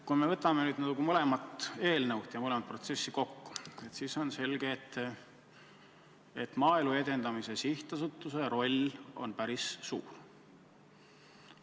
Kui me võtame nüüd mõlema eelnõu ja mõlema protsessi kokku, siis on selge, et Maaelu Edendamise Sihtasutuse roll on päris suur.